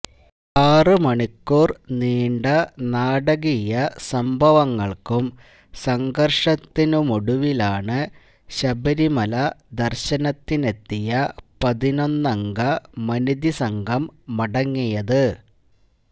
ആറ് മണിക്കൂര് നീണ്ട നാടികീയ സംഭവങ്ങള്ക്കും സംഘര്ഷത്തിനുമൊടുവിലാണ് ശബരിമല ദര്ശനത്തിനെത്തിയ പതിനൊന്നംഗ മനിതി സംഘം മടങ്ങിയത്